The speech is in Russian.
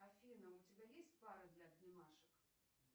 афина у тебя есть пара для обнимашек